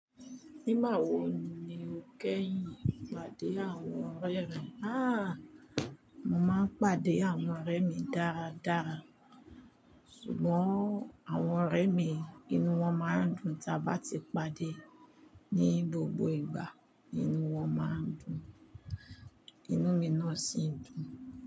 Nígbà wo ni o kẹ́yìn pàdé àwọn ọ̀rẹ́ rẹ? Aah! Mo máa ń pàdé àwọn ọ̀rẹ́ mi dáradára. Sùgbọ́n àwọn ọ̀rẹ́ mi inú wọn máa ń dùn tí a bá ti pàdé. Ni gbogbo ìgbà inú wọn máa ń dùn. Inú mi náà sì ń dùn.